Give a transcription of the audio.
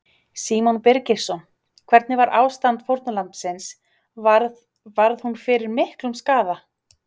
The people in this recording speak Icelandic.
Símon Birgisson: Hvernig var ástand fórnarlambsins, varð, varð hún fyrir miklum skaða?